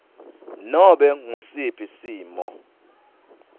nobe ngusiphi simo